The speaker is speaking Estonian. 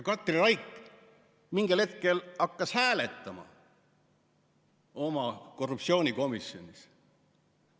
Katri Raik mingil hetkel hakkas hääletama oma korruptsioonikomisjonis.